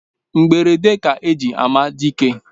Mgberede ka eji ama dike